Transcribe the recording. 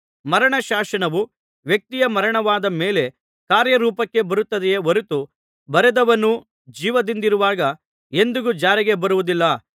ಮರಣ ಶಾಸನವು ವ್ಯಕ್ತಿಯ ಮರಣವಾದ ಮೇಲೆ ಕಾರ್ಯರೂಪಕ್ಕೆ ಬರುತ್ತದೆಯೇ ಹೊರತು ಬರೆದವನು ಜೀವದಿಂದಿರುವಾಗ ಎಂದಿಗೂ ಜಾರಿಗೆ ಬರುವುದಿಲ್ಲ